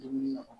Dumuni na